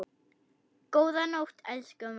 Góða nótt, elsku mamma.